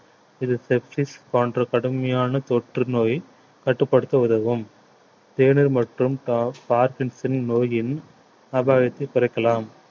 இது போன்ற கடுமையான தொற்றுநோய் கட்டுப்படுத்த உதவும் தேநீர் மற்றும் pa~ parkinson நோயின் அபாயத்தை குறைக்கலாம்